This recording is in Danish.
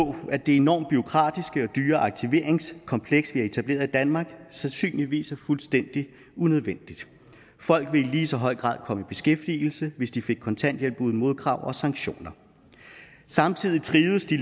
at det enormt bureaukratiske og dyre aktiveringskompleks vi har etableret i danmark sandsynligvis er fuldstændig unødvendigt folk ville i lige så høj grad komme i beskæftigelse hvis de fik kontanthjælp uden modkrav og sanktioner samtidig trivedes de